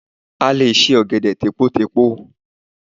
A lè se Ọ̀gẹ̀dẹ̀ tèpotèpo